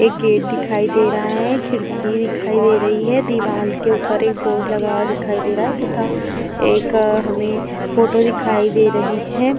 एक गेट दिखाई दे रहा है। खिड़की दिखाई दे रही है। दीवाल के ऊपर एक बोर्ड लगा हुआ दिखाई दे रहा है तथा एक हमें फोटो दिखाई दे रही है।